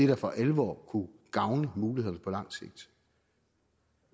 der for alvor kunne gavne mulighederne på lang sigt